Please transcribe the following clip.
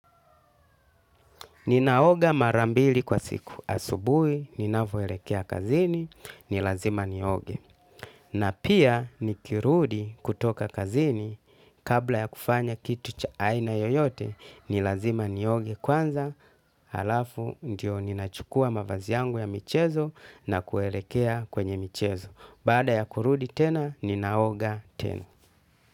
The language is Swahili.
Ninaoga marambili kwa siku. Asubuhi, ninavoerekea kazini, nilazima nioge. Na pia nikirudi kutoka kazini kabla ya kufanya kitu cha aina yoyote nilazima nioge kwanza. Alafu, ndio ninachukua mavazi yangu ya michezo na kuerekea kwenye michezo. Bada ya kurudi tena, ninaoga tena.